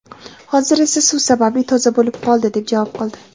hozir esa suv sababli toza bo‘lib qoldi - deb javob qildi.